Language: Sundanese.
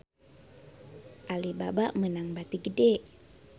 Alibaba meunang bati gede